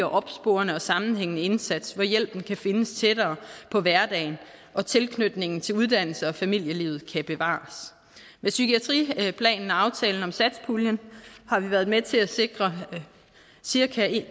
opsporende og sammenhængende indsats hvor hjælpen kan findes tættere på hverdagen og tilknytningen til uddannelse og familielivet kan bevares med psykiatriplanen og aftalen om satspuljen har vi været med til at sikre cirka